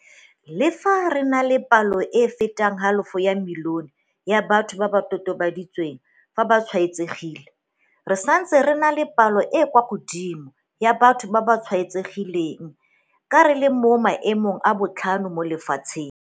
Le fa re na le palo e e fetang halofo ya milione ya batho ba go totobaditsweng fa ba tshwaetsegile, re santse re na le palo e e kwa godimo ya batho ba ba tshwaetsegileng ka re le mo maemong a botlhano mo lefatsheng.